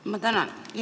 Ma tänan!